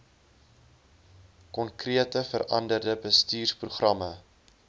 konkrete veranderde bestuursprogramme